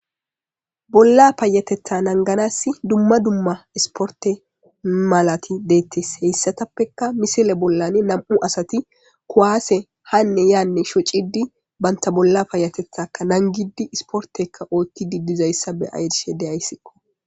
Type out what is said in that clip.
bolla paayatetha nanganas dumma dumma isporte malati deettes heyssatappeka misile bollan nam'u asati kuwaase hanne yaanne shocidi banta bolla paayatethaka nangidi isportekka oothti didizayssa be'ashe de'ayssikko